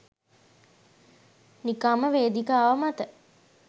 නිකම්ම වේදිකාව මත